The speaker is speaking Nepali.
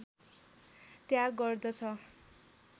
त्याग गर्दछ